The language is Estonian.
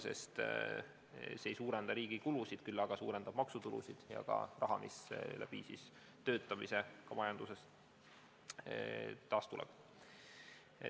See ei suurenda riigi kulusid, küll aga suurendab maksutulusid ja ka summat, mis tänu töötamisele majandusest tuleb.